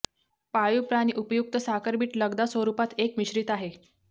पाळीव प्राणी उपयुक्त साखर बीट लगदा स्वरूपात एक मिश्रित आहे